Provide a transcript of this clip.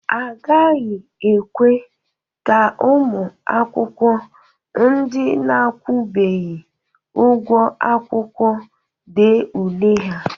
Agaghị ekwe ka ụmụ akwụkwọ ndị na-akwụbeghị ụgwọ akwụkwọ dee ule ha.